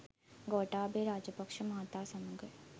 ගෝඨාභය රාපක්ෂ මහතා සමග